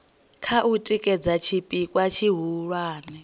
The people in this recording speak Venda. kha u tikedza tshipikwa tshihulwane